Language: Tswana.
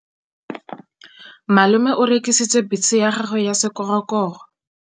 Malome o rekisitse bese ya gagwe ya sekgorokgoro.